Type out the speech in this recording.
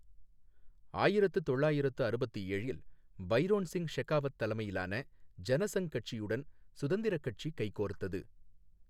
ஆயிரத்து தொள்ளாயிரத்து அறுபத்து ஏழில் பைரோன் சிங் ஷெகாவத் தலைமையிலான ஜனசங்க் கட்சியுடன் சுதந்திரக் கட்சி கைகோர்த்தது.